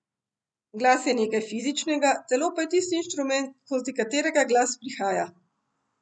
Glas je nekaj fizičnega, telo pa je tisti inštrument, skozi katerega glas prihaja.